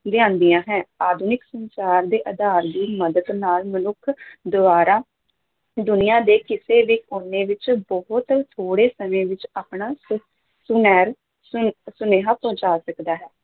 ਲਿਆਂਦੀਆਂ ਹੈ, ਆਧੁਨਿਕ ਸੰਚਾਰ ਦੇ ਆਧਾਰ ਦੀ ਮਦਦ ਨਾਲ ਮਨੁੱਖ ਦੁਆਰਾ ਦੁਨੀਆਂ ਦੇ ਕਿਸੇ ਵੀ ਕੋਨੇ ਵਿੱਚ ਬਹੁਤ ਥੋੜੇ ਸਮੇਂ ਵਿੱਚ ਆਪਣਾ ਸ ਸੁਨੇ ਸੁ ਸੁਨੇਹਾ ਪਹੁੰਚਾ ਸਕਦਾ ਹੈ।